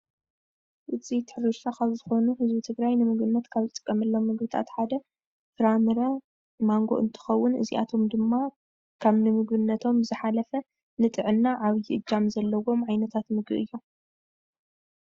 ውፅኢት ሕርሻ ካብ ዝኮኑ ህዝቢ ትግራይ ንምግብነት ካብ ዝጥቀመሎም ምግብታት ሓደ ፍራምረ ማንጎ እንትኮውን እዚኣቶም ድማ ካብ ንምግብነቶም ዝሓለፈ ንጥዕና ዓብይ እጃም ዘለዎም ዓይነታት ምግቢ እዮም።